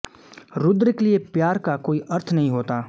रुद्र के लिए प्यार का कोई अर्थ नहीं होता